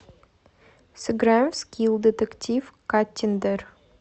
сыграем в скилл детектив каттиндер